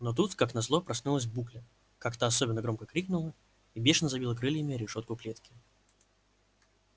но тут как назло проснулась букля как-то особенно громко крикнула и бешено забила крыльями о решётку клетки